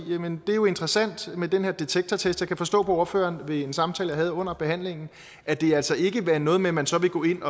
det er jo interessant med den her detektortest jeg kan forstå på ordføreren af en samtale jeg havde under behandlingen at det altså ikke vil være noget med at man så vil gå ind